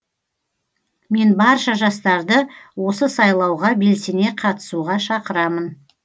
мен барша жастарды осы сайлауға белсене қатысуға шақырамын